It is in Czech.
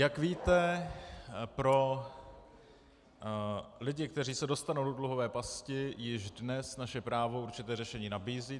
Jak víte, pro lidi, kteří se dostanou do dluhové pasti, již dnes naše právo určité řešení nabízí.